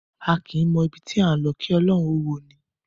A kìí mọ ibi tí à ńlọ kí ọrùn ó wọ’ni.